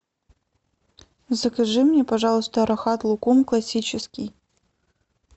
закажи мне пожалуйста рахат лукум классический